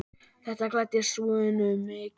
Þetta gladdi Svönu mikið.